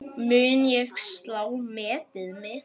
Mun ég slá metið mitt?